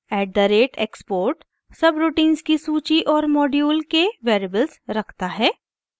at the rate export subroutines की सूची और मॉड्यूल के वेरिएबल्स रखता है